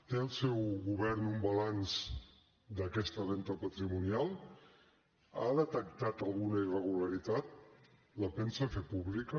té el seu govern un balanç d’aquesta venda patrimonial ha detectat alguna irregularitat la pensa fer pública